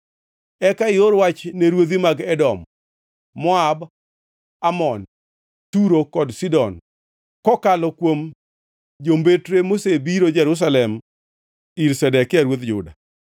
Eka ior wach ne ruodhi mag Edom, Moab, Amon, Turo kod Sidon kokalo kuom jombetre mosebiro Jerusalem ir Zedekia ruodh Juda.